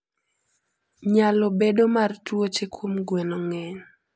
Nyalo bedo mar tuoche kuom gweno ng'eny.